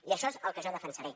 i això és el que jo defensaré